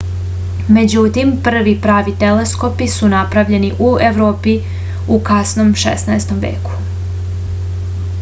međutim prvi pravi teleskopi su napravljeni u evropi u kasnom 16. veku